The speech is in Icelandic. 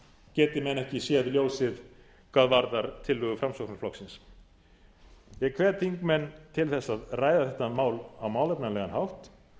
geti menn ekki séð ljósið hvað varðar tillögu framsóknarflokksins ég hvet þingmenn til þess að ræða þetta mál á málefnalegan hátt